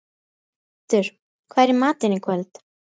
Berghildur, hvað er í matinn í kvöld?